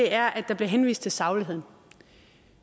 er at der bliver henvist til sagligheden